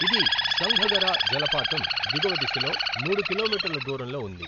ఇది సంఘగరా జలపాతం దిగువ దిశలో మూడు కిలోమీటర్ల దూరంలో ఉంది.